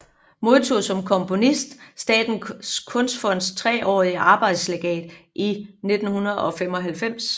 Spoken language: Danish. Modtog som komponist Statens Kunstfonds treårige arbejdslegat i 1995